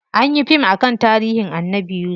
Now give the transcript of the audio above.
Anyi yi fim akan tarihin Annabi yusuf.